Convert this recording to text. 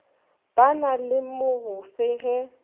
ba na le mogofe ge